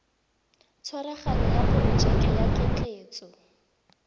tshwaraganyo ya porojeke ya ketleetso